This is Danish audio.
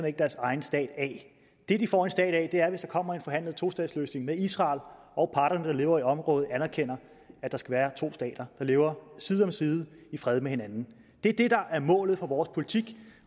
ikke deres egen stat af det det de får en stat af er at der kommer en forhandlet tostatsløsning med israel og at parterne der lever i området anerkender at der skal være to stater der lever side om side i fred med hinanden det er det der er målet for vores politik